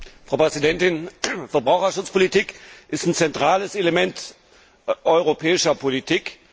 Frau Präsidentin! Verbraucherschutzpolitik ist ein zentrales Element der europäischen Politik.